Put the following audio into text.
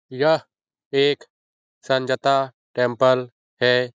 यह एक संजता टेंपल है।